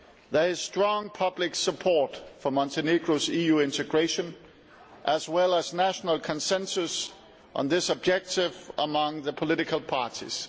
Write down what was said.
There is strong public support for Montenegro's EU integration as well as national consensus on this objective among the political parties.